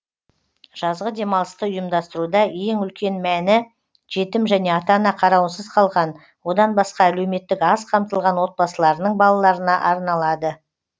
жазғы демалысты ұйымдастыруда ең үлкен мәні жетім және ата ана қарауынсыз қалған одан басқа әлеуметтік аз қамтылған отбасыларының балаларына арналады